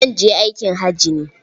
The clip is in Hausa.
Zan je aikin haji ne.